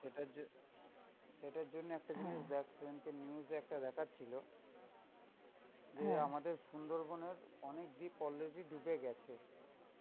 সেটার জ~, সেটার জন্য একটা জিনিস দেখ, সেদিনকে news এ একটা দেখাচ্ছিলো যে আমাদের সুন্দরবনের অনেক দ্বীপ already ডুবে গেছে.